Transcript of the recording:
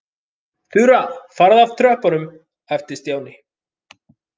Þura, farðu frá tröppunum æpti Stjáni.